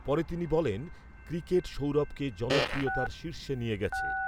পরে তিনি বলেন ক্রিকেট সৌরভকে জনপ্রিয়তার শীর্ষে নিয়ে গেছে।